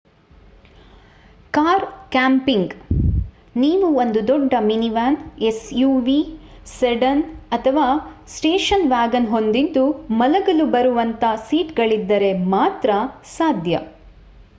car camping ನೀವು ಒಂದು ದೊಡ್ಡ ಮಿನಿವ್ಯಾನ್ suv ಸೆಡನ್ ಅಥವಾ ಸ್ಟೇಷನ್ ವ್ಯಾಗನ್ ಹೊಂದಿದ್ದು ಮಲಗಲು ಬರುವಂಥ ಸೀಟ್ ಗಳಿದ್ದರೆ ಮಾತ್ರ ಸಾಧ್ಯ